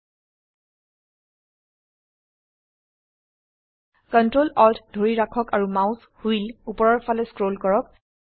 ctrl alt ধৰি ৰাখক আৰু মাউস হুইল উপৰৰ ফালে স্ক্ৰল কৰক